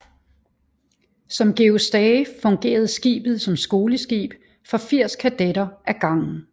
Som Georg Stage fungerede skibet som skoleskib for 80 kadetter ad gangen